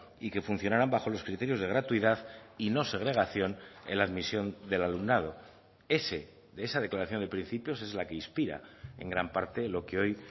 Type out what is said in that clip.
y que funcionaran bajo los criterios de gratuidad y no segregación en la admisión del alumnado ese de esa declaración de principios es la que inspira en gran parte lo que hoy